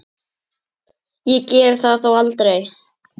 Ég gerði það þó aldrei.